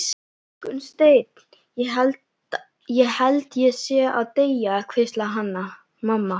Gunnsteinn, ég held ég sé að deyja, hvíslaði Hanna-Mamma.